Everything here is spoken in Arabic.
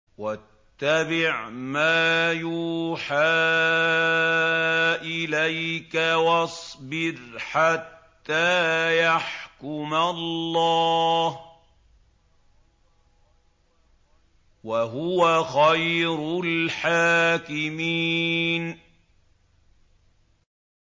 وَاتَّبِعْ مَا يُوحَىٰ إِلَيْكَ وَاصْبِرْ حَتَّىٰ يَحْكُمَ اللَّهُ ۚ وَهُوَ خَيْرُ الْحَاكِمِينَ